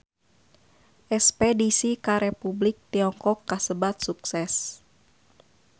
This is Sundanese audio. Espedisi ka Republik Tiongkok kasebat sukses